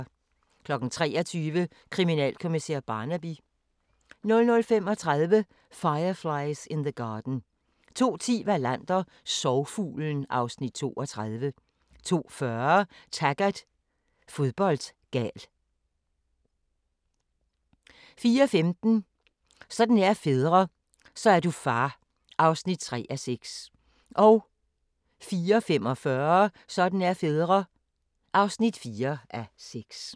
23:00: Kriminalkommissær Barnaby 00:35: Fireflies in the Garden 02:10: Wallander: Sorgfuglen (Afs. 32) 02:40: Taggart: Fodboldgal 04:15: Sådan er fædre - så er du far (3:6) 04:45: Sådan er fædre (4:6)